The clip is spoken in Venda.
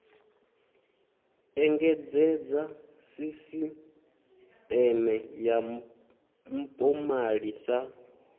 engedzedza sisiṱeme ya mpomali sa